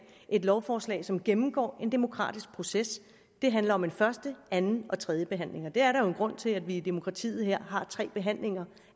et lovforslag som gennemgår en demokratisk proces det handler om en første anden og tredje behandling og der er jo en grund til at vi i dette demokrati har tre behandlinger